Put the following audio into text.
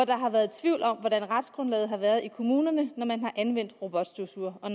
der har været tvivl om hvordan retsgrundlaget har været i kommunerne når man har anvendt robotstøvsugere og